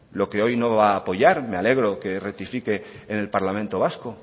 lo que hoy no va apoyar me alegro que rectifique en el parlamento vasco